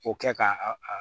O kɛ ka a a